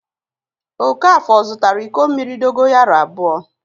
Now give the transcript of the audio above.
Okafọ zụtara iko mmiri dogoyaro abụọ.